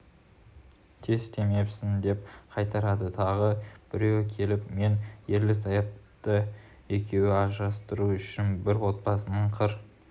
те істемепсің деп қайтарады тағы біреуі келіп мен ерлі-зайыпты екеуді ажырастыру үшін бір отбасының қыр